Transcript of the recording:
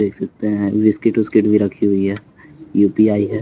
देख सकते हैं बिस्किट विस्किट भी रखी हुई है यू_पी_आई है।